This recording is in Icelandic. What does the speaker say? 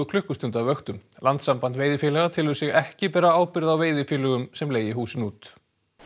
klukkustunda vöktum landssamband veiðifélaga telur sig ekki bera ábyrgð á veiðifélögum sem leigi húsin út